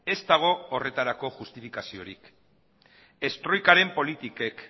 ez dago horretarako justifikaziorik ez troikaren politikek